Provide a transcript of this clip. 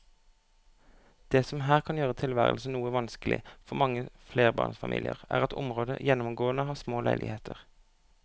Det som her kan gjøre tilværelsen noe vanskelig for mange flerbarnsfamilier er at området gjennomgående har små leiligheter.